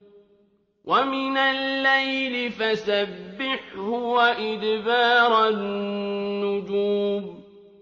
وَمِنَ اللَّيْلِ فَسَبِّحْهُ وَإِدْبَارَ النُّجُومِ